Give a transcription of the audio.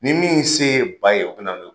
Ni min se ba ye o be na n'o ye.